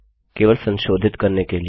केवल संशोधित करने के लिए